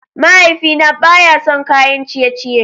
Mahaifina baya son kayan ciye-ciye.